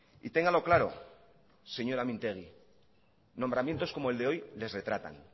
y téngalo claro señora mintegi nombramientos como el de hoy les retratan